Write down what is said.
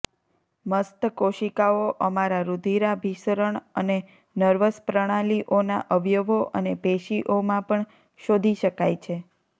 મસ્ત કોશિકાઓ અમારા રુધિરાભિસરણ અને નર્વસ પ્રણાલીઓના અવયવો અને પેશીઓમાં પણ શોધી શકાય છે